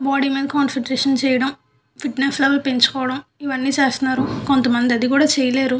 Body మీద concentration చేయడం fitness అవి పెంచుకోవటం ఇవన్నీ చేస్తాన్నారు. కొంత మంది అది కూడా చేయలేరు.